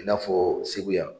I na fɔ segu yan.